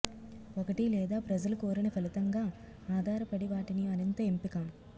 ఒకటి లేదా ప్రజలు కోరిన ఫలితంగా ఆధారపడి వాటిని మరింత ఎంపిక